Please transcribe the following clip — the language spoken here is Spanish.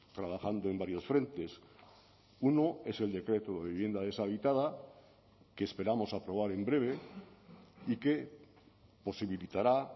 trabajando en varios frentes uno es el decreto de vivienda deshabitada que esperamos aprobar en breve y que posibilitara